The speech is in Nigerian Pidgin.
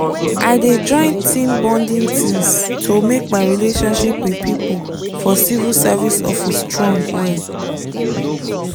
i dey join team bonding things to make my relationship with people for civil service office strong well.